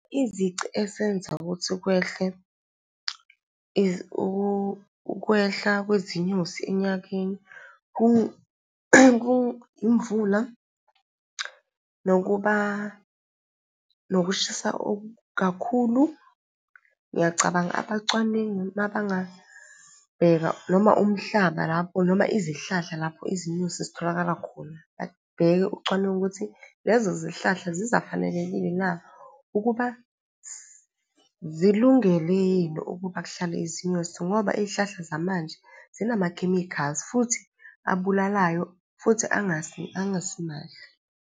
Izici esenza ukuthi kwehle ukwehla kwezinyosi enyakeni, kuyimvula nokuba, nokushisa okukakhulu. Ngiyacabanga abacwaningi uma bangabheka noma umhlaba lapho noma izihlahla lapho izinyosi zitholakala khona. Babheke ucwaningo ukuthi lezo zihlala zizafanelekile na ukuba zilungele yini ukuba kuhlale izinyosi? Ngoba iy'hlahla zamanje zinamakhemikhali, futhi abulalayo, futhi angasimahle.